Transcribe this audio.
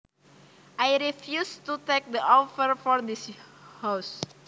I refuse to take the offer for this house